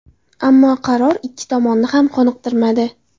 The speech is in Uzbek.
Ammo qaror ikki tomonni ham qoniqtirmadi.